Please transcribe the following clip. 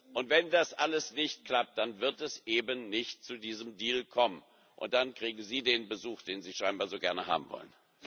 Und wenn das alles nicht klappt, dann wird es eben nicht zu diesem Deal kommen und dann kriegen Sie den Besuch, den Sie scheinbar so gerne haben wollen.